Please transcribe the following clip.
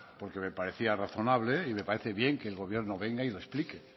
porque me parecía razonable y me parece bien que el gobierno venga y lo explique